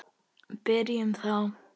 Byrjum þá.